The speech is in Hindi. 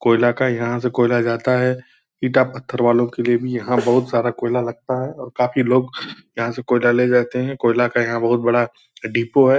कोयला का यहाँ से कोयला जाता है। ईटा पत्थर वालो के लिए भी यहाँ बहुत सारा कोयला लगता है और काफी लोग यहाँ से कोयला ले जाते हैं। कोयला का यहाँ बहुत बड़ा डिपो है।